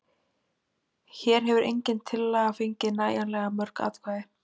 Hér hefur engin tillaga fengið nægjanlega mörg atkvæði.